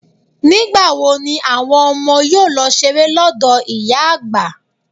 Nígbà wo ni àwọn ọmọ yóò lọ ṣeré lọ́dọ̀ ìyá àgbà.